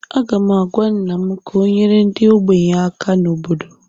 Aga m agwa nna m ka ọ nyere ndị ogbenye aka na obodo